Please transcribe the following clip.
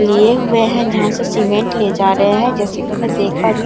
लिए हुए हैं जहां से सीमेंट ले जा रहे हैं जैसे कि मैं देख पा रही हूं।